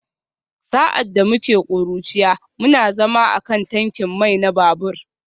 Sa’ad da muke ƙuruciya, muna zama a kan tankin mai na babur